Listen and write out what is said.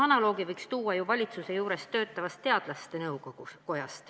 Analoogina võiks tuua ju valitsuse juures töötava teadlaste nõukoja.